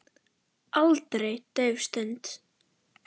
Aldrei dauf stund.